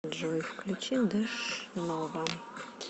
джой включи дэшнова